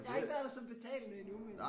Jeg har ikke været der som betalende endnu men